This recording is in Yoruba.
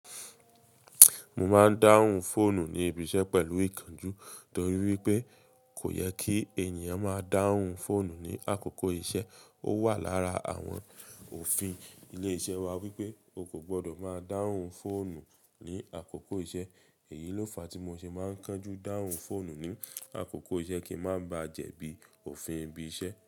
Mo máa ń dáhùn fóònù ní ibi iṣẹ́ pẹ̀lú ìkanjú torí wípé kò yẹ kí ènìyàn máa dáhùn fóònù ní àkókò iṣẹ́. Ó wà lára àwọn òfin ilé iṣẹ́ wa wípé o kò gbọdọ̀ máa dáhùn fóònù ní àkókò iṣẹ́. Èyí ló fa tí mo ṣe máa ń kánjú dáhùn fóònù ní àkókò iṣẹ́ kí ń má ba jẹ̀bi òfin ibi iṣẹ́